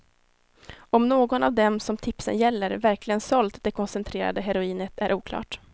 Om någon av dem som tipsen gäller verkligen sålt det koncentrerade heroinet är oklart.